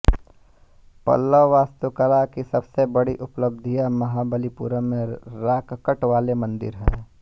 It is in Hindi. पल्लव वास्तुकला की सबसे बड़ी उपलब्धियाँ महाबलीपुरम में रॉककट वाले मंदिर हैं